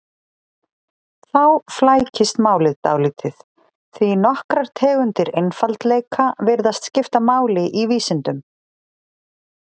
Þá flækist málið dálítið, því nokkrar tegundir einfaldleika virðast skipta máli í vísindum.